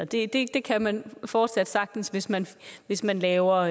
det det kan man fortsat sagtens hvis man hvis man laver